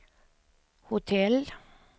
hotell